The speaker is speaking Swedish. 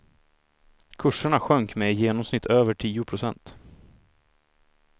Kurserna sjönk med i genomsnitt över tio procent.